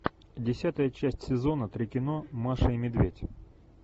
десятая часть сезона три кино маша и медведь